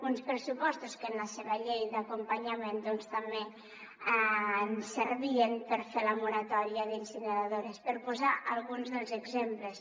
uns pressupostos que en la seva llei d’acompanyament doncs també ens servien per fer la moratòria d’incineradores per posar ne alguns dels exemples